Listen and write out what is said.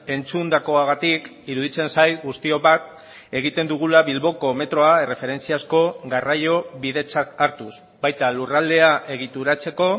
entzundakoagatik iruditzen zait guztiok bat egiten dugula bilboko metroa erreferentziazko garraio bidetzat hartuz baita lurraldea egituratzeko